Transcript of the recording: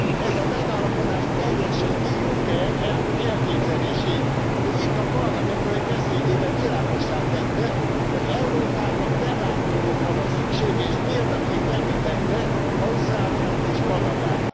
Ez a megállapodás teljesíti Juncker elnök elképzelését ő itt a Parlamentben egy beszédében világossá tette, hogy Európának bevándorlókra van szüksége, és példaként említette Ausztráliát és Kanadát.